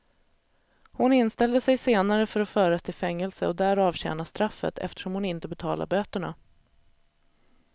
Hon inställde sig senare för att föras till fängelse och där avtjäna straffet, eftersom hon inte betalade böterna.